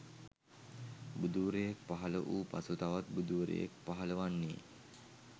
බුදුවරයෙක් පහල වූ පසු තවත් බුදුවරයෙක් පහලවන්නේ